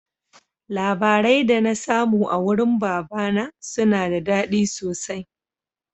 Labarai da na samu a wurin baba na suna da daɗi sosai